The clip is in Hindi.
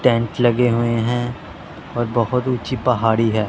टेंट लगे हुए हैं और बहोत ऊंची पहाड़ी है।